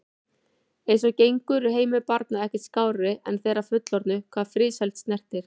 Eins og gengur er heimur barna ekkert skárri en þeirra fullorðnu hvað friðsæld snertir.